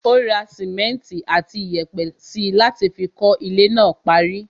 Ó ra simẹnti àti iyẹ̀pẹ̀ síi láti fi kọ́ ilé náà parí.